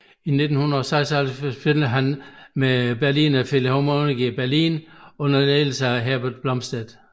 I 1976 spillede han med Berliner Philharmonikerne i Berlin under ledelse af Herbert Blomstedt